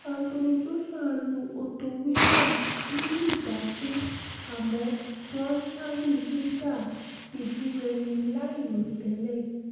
anthony joshua lu otto wallin lùlú dákú àmọ́ deontay wilder fídí rẹmi láìròtẹ́lẹ̀